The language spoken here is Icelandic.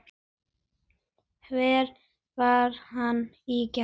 Hvar var hann í gær?